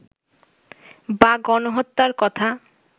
বা গণহত্যার কথা